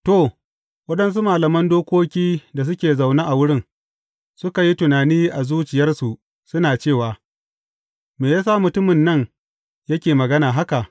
To, waɗansu malaman dokoki da suke zaune a wurin, suka yi tunani a zuciyarsu, suna cewa, Me ya sa mutumin nan yake magana haka?